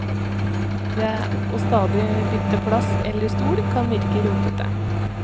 Det å stadig bytte plass eller stol kan virke rotete.